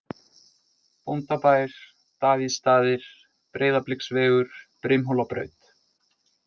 Bóndabær, Davíðsstaðir, Breiðabliksvegur, Brimhólabraut